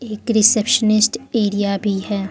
एक receptionist area भी है।